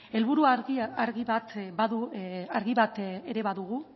helburu argi bat ere badugu